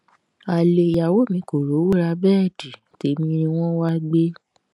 ale ìyàwó mi kò rówó ra bẹẹdì tẹmí ni wọn wáá gbé